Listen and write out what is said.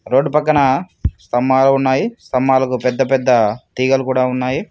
Road పక్కన స్తంభాలు ఉన్నాయి స్తంభాలకు పెద్ద పెద్ద తీగలు కూడా ఉన్నాయి.